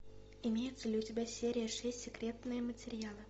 имеется ли у тебя серия шесть секретные материалы